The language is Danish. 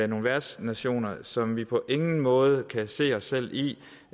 nogle værtsnationer som vi på ingen måde kan se os selv i